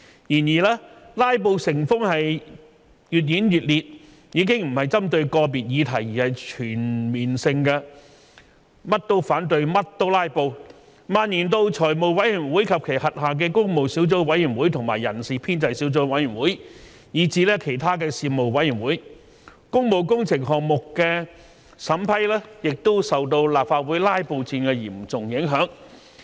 然而，"拉布"成風，越演越烈，已經不是針對個別議題，而是全面性的"甚麼都反對、甚麼都拉布"，蔓延到財務委員會及其轄下的工務小組委員會和人事編制小組委員會，以至其他事務委員會，工務工程項目的審批亦受到立法會"拉布戰"的嚴重影響。